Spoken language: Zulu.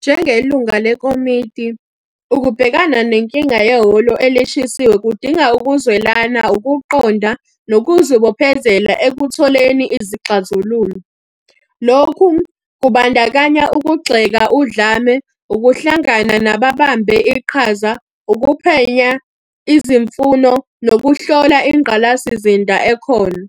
Njengelunga lekomiti, ukubhekana nenkinga yehholo elishisiwe kudinga ukuzwelana, ukuqonda nokuzibophezela ekutholeni izixazululo. Lokhu kubandakanya ukugxeka udlame, ukuhlangana nababambe iqhaza, ukuphenya izimfuno nokuhlola ingqalasizinda ekhona.